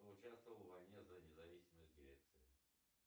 кто участвовал в войне за независимость греции